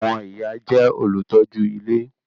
Àwọn ìyá jẹ́ olùtọ́jú ilé